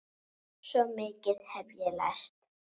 Svo mikið hef ég lært.